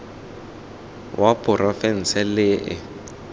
wa porofense le e e